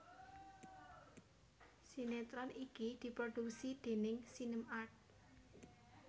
Sinéetron iki diproduksi déning SinemArt